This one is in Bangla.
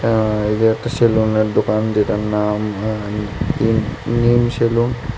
আর এটা একটা সেলুনের দোকান যেটার নাম আঃ আঃ নিম-নিম সেলুন ।